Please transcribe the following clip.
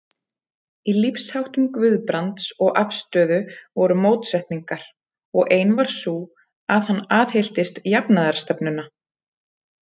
Í lífsháttum Guðbrands og afstöðu voru mótsetningar, og ein var sú, að hann aðhylltist jafnaðarstefnuna.